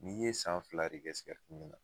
N'i ye san fila de kɛ min na